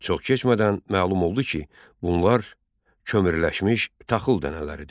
Çox keçmədən məlum oldu ki, bunlar kömürləşmiş taxıl dənələridir.